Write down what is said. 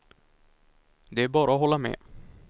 Det är bara att hålla med.